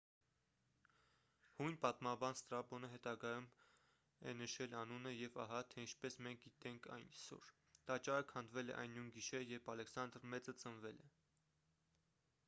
հույն պատմաբան ստրաբոնը հետագայում է նշել անունը և ահա թե ինչպես մենք գիտենք այսօր տաճարը քանդվել է այն նույն գիշերը երբ ալեքսանդր մեծը ծնվել է